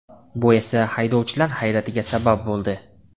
Bu esa haydovchilar hayratiga sabab bo‘ldi.